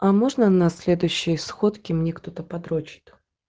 а можно на следующей сходке мне кто-то подрочит